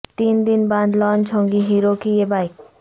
تین دن بعد لانچ ہوگی ہیرو کی یہ بائیک